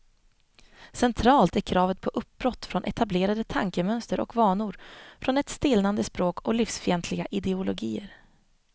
Centralt är kravet på uppbrott från etablerade tankemönster och vanor, från ett stelnande språk och livsfientliga ideologier.